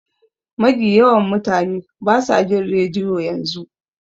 Magi yawan mutane basa jin rediyo yanzu.